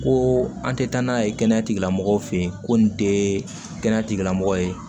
Ko an tɛ taa n'a ye kɛnɛya tigilamɔgɔw fɛ yen ko nin tɛ kɛnɛya tigilamɔgɔ ye